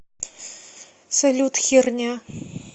салют херня